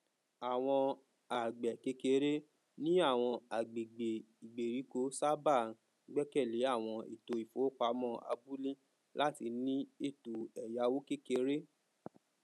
àwọn àgbẹkékeré ní àwọn àgbègbè ìgbèríko sábà gbẹkẹlé àwọn ètò ìfowopamọ abúlé láti ní ètò èyáwó kékeré